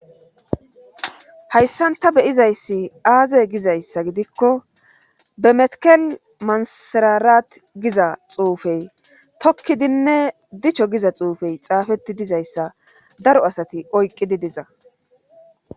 hayssan ta beyizayssi aaze gizayssa gidikko bemetekel mansirarat giza xuufey tokkidinne dichcho giza xuufey xaafetti dizayssa daro asati oyqqidi diza